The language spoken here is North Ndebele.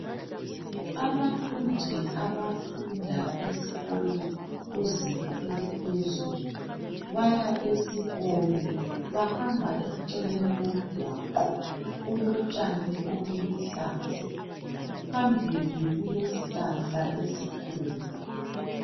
Abafundi abafunda esikolo kuzinga eliphezulu baya esikolo. Bahamba eceleni komgwaqo. Kulotshani obuluhlaza .Phambili kulesihlahla esikhulu.